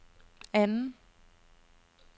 anden